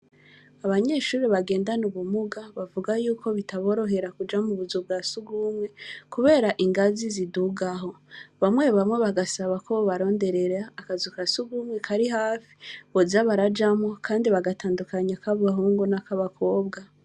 Abanyeshure bagendana ubumuga, bavuga yuko bitaborohera kuja mu buzu bwa surwumwe, kubera ingazi zidugaho; bamwe bamwe bagasaba ko bobaronderera akazu ka surwumwe kari hafi boza barajamwo, kandi bagatandukanya ak’abahungu n’ak’abakobwa.